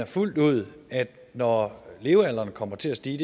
fuldt ud at når levealderen kommer til at stige